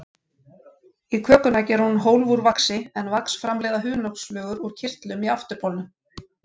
Í kökuna gerir hún hólf úr vaxi, en vax framleiða hunangsflugur úr kirtlum í afturbolnum.